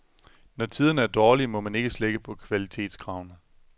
Når tiderne er dårlige, må man ikke slække på kvalitetskravene.